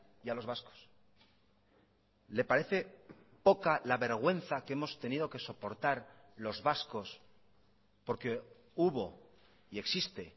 y a los vascos le parece poca la vergüenza que hemos tenido que soportar los vascos porque hubo y existe